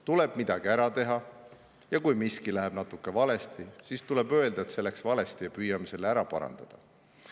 Tuleb midagi ära teha ja kui miski läheb natuke valesti, siis tuleb öelda, et see läks valesti ja püüame selle ära parandada.